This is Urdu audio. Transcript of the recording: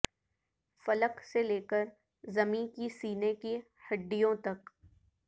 فلک سے لیکر زمیں کے سینے کی ہڈیوں تک